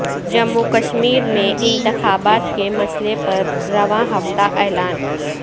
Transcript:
جموں و کشمیر میں انتخابات کے مسئلہ پر رواں ہفتہ اعلان